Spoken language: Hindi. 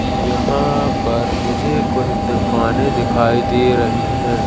यहां पर मुझे कुछ दुकानें दिखाई दे रही हैं।